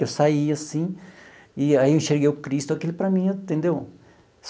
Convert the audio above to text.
Eu saí assim, e aí eu enxerguei o Cristo, aquilo para mim, entendeu?